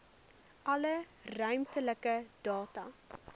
alle ruimtelike data